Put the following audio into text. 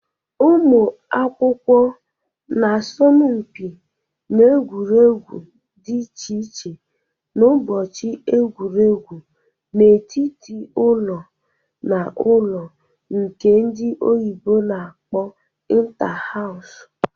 Ụmụ akwụkwọ n'asọmpi n'egwuregwu dị iche iche n'ụbọchị egwuregwu n'etiti ụlọ n' ụlọ nke ndị oyibo na-akpo inta-hawsu